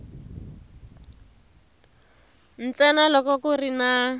ntsena loko ku ri na